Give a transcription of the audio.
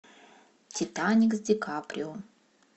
титаник с ди каприо